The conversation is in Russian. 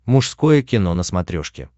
мужское кино на смотрешке